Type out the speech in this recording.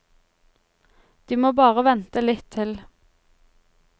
De må bare vente litt til.